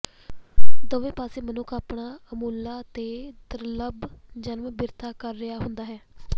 ਦੋਵੇਂ ਪਾਸੇ ਮਨੁੱਖ ਆਪਣਾ ਅਮੁੱਲਾ ਤੇ ਦੁਰਲਭ ਜਨਮ ਬਿਰਥਾ ਕਰ ਰਿਹਾ ਹੁੰਦਾ ਹੈ